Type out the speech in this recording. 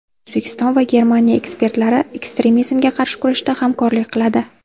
O‘zbekiston va Germaniya ekspertlari ekstremizmga qarshi kurashda hamkorlik qiladi.